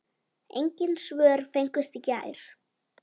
Engin svör fengust í gær.